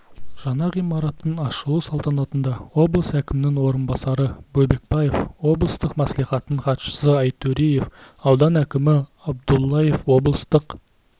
жаңа ғимараттың ашылу салтанатында облыс әкімінің орынбасары бөкенбаев облыстық мәслихаттың хатшысы айтөреев аудан әкімі абдуллаев облыстық